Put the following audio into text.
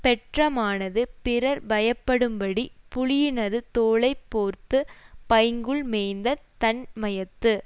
பெற்றமானது பிறர் பயப்படும்படி புலியினது தோலை போர்த்துப் பைங்கூழ் மேய்ந்த தன் மையத்து